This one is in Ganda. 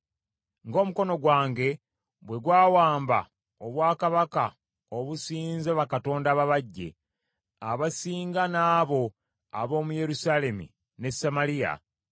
Ng’omukono gwange bwe gwawamba obwakabaka obusinza bakatonda ababajje, abasinga n’abo ab’omu Yerusaalemi ne Samaliya,